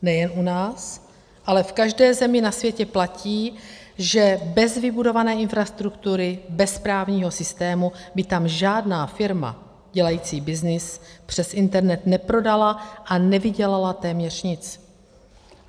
Nejen u nás, ale v každé zemi na světě platí, že bez vybudované infrastruktury, bez právního systému by tam žádná firma dělající byznys přes internet neprodala a nevydělala téměř nic.